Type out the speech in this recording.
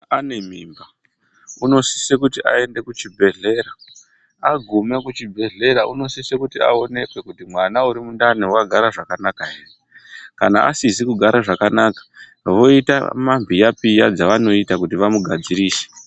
Ane mimba uno sise kuti a ende kuchi bhedhlera agume kuchi bhedhlera uno sise kuti aonekwe kuti mwana uri mundani waka gara zvakanaka ere kana asizi kugara zvakanaka voita ma mbiya piya dzavanoti kuti vamu gadzirise.